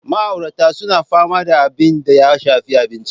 Ma'auratan suna fama da abin da ya shafi abinci.